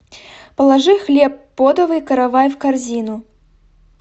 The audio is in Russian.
положи хлеб подовый каравай в корзину